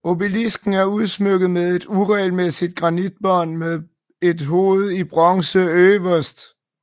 Obelisken er udsmykket med et uregelmæssigt granitbånd med et hoved i bronze øverst